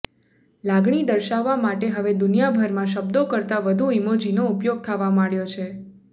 લાગણી દર્શાવવા માટે હવે દુનિયાભરમાં શબ્દો કરતા વધુ ઇમોજીનો ઉપયોગ થવા માંડ્યો છે